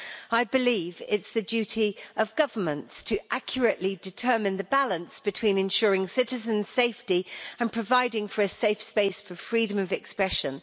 I believe it's the duty of governments to determine accurately the balance between ensuring citizens' safety and providing for a safe space for freedom of expression.